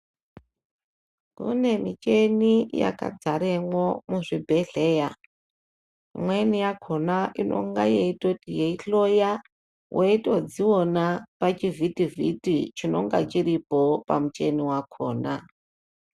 Kunemuchini yakadzaramwo muzvibhedhleya imweni yakhona inonga yechitoti yeihloya wechitozviona pachivhitivhiti chinonga chiripo pamuchini wakhona.